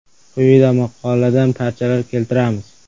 Quyida maqoladan parchalar keltiramiz.